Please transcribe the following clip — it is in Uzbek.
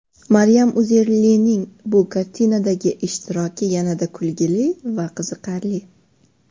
Maryam Uzerlining bu kartinadagi ishtiroki yanada kulgili va qiziqarli.